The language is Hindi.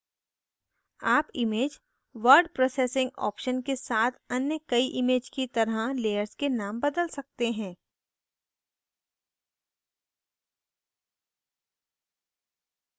आप image word processing options के साथ अन्य कई image की तरह layers के नाम बदल सकते हैं